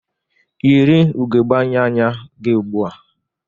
Yiri ugogbe anya anya gị ugbu a!